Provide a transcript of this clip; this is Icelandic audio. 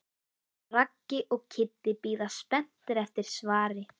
Raggi og Kiddi bíða spenntir eftir svari.